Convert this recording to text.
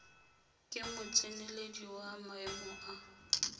ke motseneledi wa maemo a